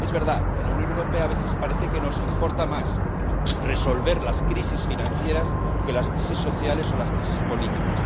Es verdad, en la Unión Europea, a veces parece que nos importa más resolver las crisis financieras que las crisis sociales o las crisis políticas.